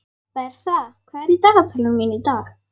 Bertha, hvað er í dagatalinu mínu í dag?